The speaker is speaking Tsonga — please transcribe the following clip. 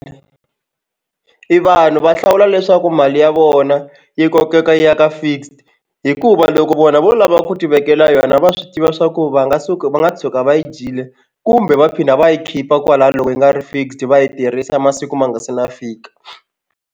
I vanhu va hlawula leswaku mali ya vona yi kokeka yi ya ka fixed hikuva loko vona vo lava ku tivekela yona va swi tiva swa ku va nga suka va nga tshuka va yi dyile kumbe va phinda va yi khipa kwalaya loko yi nga ri fixed va yi tirhisa masiku ma nga se na fika.